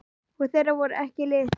Og þeir voru ekki litlir.